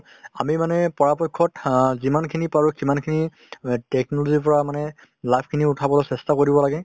আমি মানে পৰাপক্ষত অ যিমান খিনি পাৰো সিমান খিনি technology ৰ পৰা মানে লাভ খিনি উঠাবলৈ চেষ্টা কৰিব লাগে